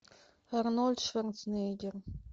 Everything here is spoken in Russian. арнольд шварценеггер